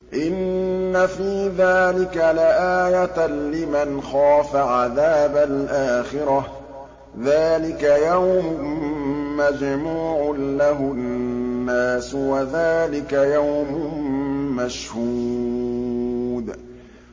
إِنَّ فِي ذَٰلِكَ لَآيَةً لِّمَنْ خَافَ عَذَابَ الْآخِرَةِ ۚ ذَٰلِكَ يَوْمٌ مَّجْمُوعٌ لَّهُ النَّاسُ وَذَٰلِكَ يَوْمٌ مَّشْهُودٌ